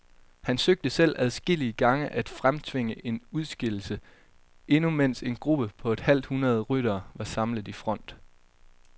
Han søgte selv adskillige gange at fremtvinge en udskillelse, endnu mens en gruppe på et halvt hundrede ryttere var samlet i front.